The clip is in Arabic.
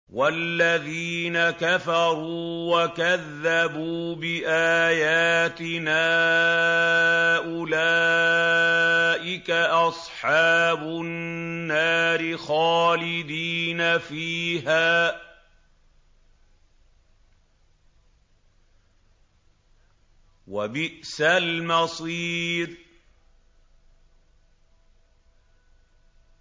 وَالَّذِينَ كَفَرُوا وَكَذَّبُوا بِآيَاتِنَا أُولَٰئِكَ أَصْحَابُ النَّارِ خَالِدِينَ فِيهَا ۖ وَبِئْسَ الْمَصِيرُ